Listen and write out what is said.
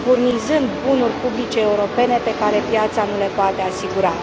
furnizând bunuri publice europene pe care piața nu le poate asigura.